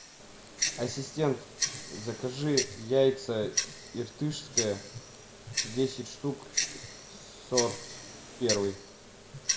ассистент закажи яйца иртышское десять штук сорт первый